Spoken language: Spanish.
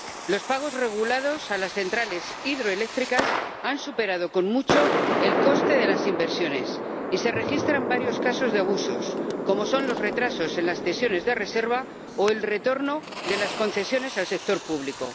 Los pagos regulados a las centrales hidroeléctricas han superado, con mucho, el coste de las inversiones y se registran varios casos de abusos, como son los retrasos en las cesiones de reserva o el retorno de las concesiones al sector público.